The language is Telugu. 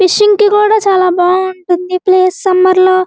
ఫిషింగ్ కూడా చాలా బాగుంటుంది ఈ ప్లేస్ సమ్మర్ లో --